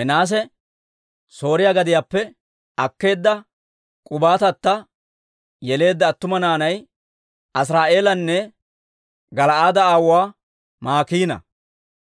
Minaase Sooriyaa gadiyaappe akkeedda k'ubaatata yeleedda attuma naanay Asiri'eelanne Gala'aade aawuwaa Maakiina.